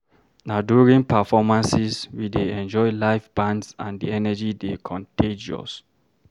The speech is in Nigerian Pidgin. Na during performances, we dey enjoy live bands and the energy dey contagious.